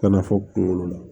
Kana fɔ kunkolo la